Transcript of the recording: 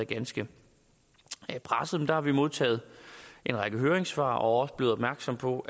ganske presset har vi modtaget en række høringssvar og er også blevet opmærksomme på